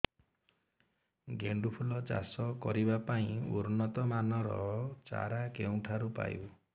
ଗେଣ୍ଡୁ ଫୁଲ ଚାଷ କରିବା ପାଇଁ ଉନ୍ନତ ମାନର ଚାରା କେଉଁଠାରୁ ପାଇବୁ